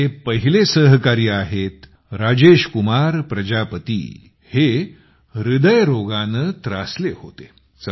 आमचे पहिले सहकारी आहेत राजेश कुमार प्रजापती आहे जे हृदयरोगाने त्रासले होते